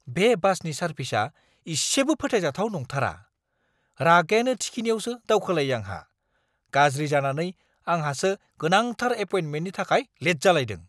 बे बासनि सारभिसआ इसेबो फोथायजाथाव नांथारा, रागायानो थिखिनियावसो दावखोलायो आंहा। गाज्रि जानानै आंहासो गोनांथार एपइन्टमेन्टनि थाखाय लेट जालायदों!